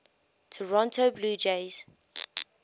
toronto blue jays